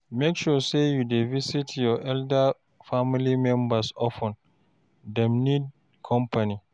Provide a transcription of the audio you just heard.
Make sure sey you dey visit your elderly family members of ten, dem need company